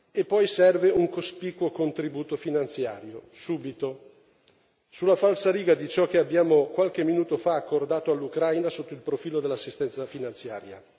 E poi serve un cospicuo contributo finanziario, subito, sulla falsariga di ciò che abbiamo qualche minuto fa accordato all'Ucraina sotto il profilo dell'assistenza finanziaria.